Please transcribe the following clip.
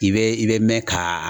I bɛ i bɛ mɛn kaa